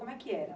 Como é que era?